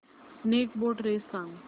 snake boat race सांग